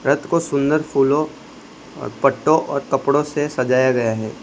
रथ को सुंदर फूलों और पट्टो और कपड़ों से सजाया गया है।